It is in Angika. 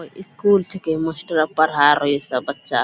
कोय स्कूल छेकै मास्टरवा पढ़ाय रहो इ सब बच्चा।